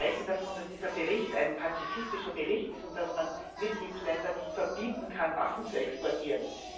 Sie sprechen davon, dass dieser Bericht ein pazifistischer Bericht ist und dass man Mitgliedsländern nicht verbieten kann, Waffen zu exportieren.